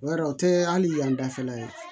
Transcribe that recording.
O yɛrɛ o tɛ hali yan dafɛla ye